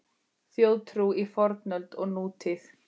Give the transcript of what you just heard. Þjóðtrú í fornöld og nútíð